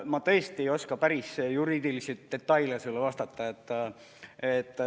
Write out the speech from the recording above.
Ma tõesti ei oska päris juriidilisi detaile sulle vastata.